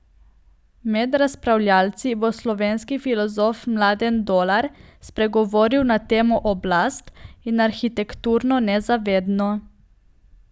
Med razpravljavci bo slovenski filozof Mladen Dolar spregovoril na temo Oblast in arhitekturno nezavedno.